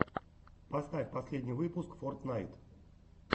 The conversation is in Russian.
поставь последний выпуск фортнайт